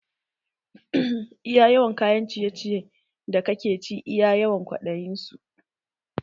Iya yawan kayan ciye ciyen da kake ci iya yawan kwaɗayi su